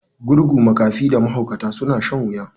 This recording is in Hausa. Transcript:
Gurgu, makafi da mahaukata suna shan wuya.